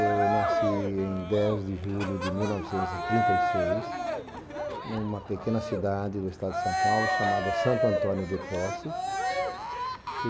Eu nasci em dez de julho de mil novecentos de trinta e seis, numa pequena cidade do estado de São Paulo, chamada Santo Antônio de Posse.